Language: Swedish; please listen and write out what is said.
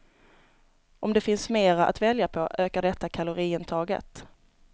Om det finns mera att välja på ökar detta kaloriintaget.